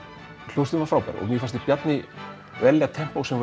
hljómsveitin var frábær mér fannst Bjarni velja